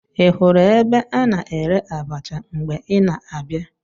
Ị hụrụ ebe a na-ere abacha mgbe ị na-abịa?